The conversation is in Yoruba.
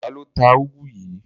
Ta ló ta úgú yìí?